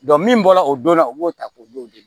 min bɔra o donna o b'o ta k'o d'o ma